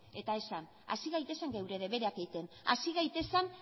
eta esan has gaitezen gure debereak egiten hasi gaitezen